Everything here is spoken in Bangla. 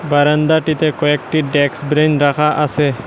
বারান্দাটিতে কয়েকটি ডেকস ব্রেন রাখা আসে ।